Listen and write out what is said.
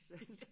Sagde han så